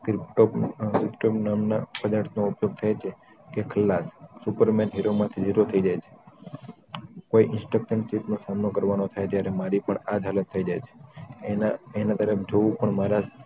વિકટોમ નામના પદાર્થનો ઉપયોગ થાય છે ત્યાં તે ખલ્લાદ સુપરમેન હીરો માઠી જીરો થઇ જાય છે કોઈ inspector chief નો સામનો કરવાનો થાય ત્યારે મારી પણ આ જ હાલત થઈ જાય છે એના તરફ જોવું પણ મારા